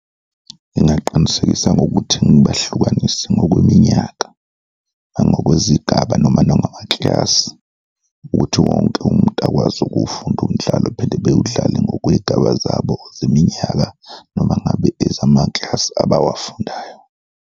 Ngingaqinisekisa ngokuthi ngibahlukanise ngokweminyaka nangokwezigaba noma nangamakilasi ukuthi wonke umuntu akwazi ukuwufunda umdlalo phinde bewudlale ngokwey'gaba zabo zeminyaka noma ngabe ezamakilasi abawafundayo.